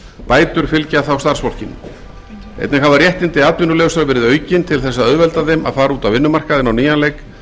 bætur fylgja þá starfsfólkinu einnig hafa réttindi atvinnulausra verið aukin til að auðvelda þeim að fara út á vinnumarkaðinn á nýjan leik